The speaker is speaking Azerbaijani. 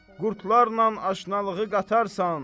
Qurdlarla aşnalığı qatarsan.